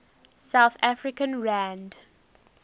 south african rand